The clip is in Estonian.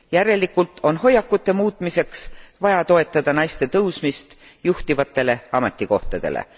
Järelikult on hoiakute muutmiseks vaja toetada naiste tõusmist juhtivatele ametikohtadele.